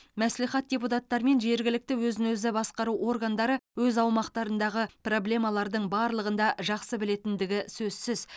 мәслихат депутаттары мен жергілікті өзін өзі басқару органдары өз аумақтарындағы проблемалардың барлығын да жақсы білетіндігі сөзсіз